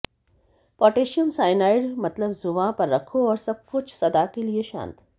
potassium cyanide मतलब जुबां पर रखो और सबकुछ सदा के शांत